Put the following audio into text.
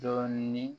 Dɔɔnin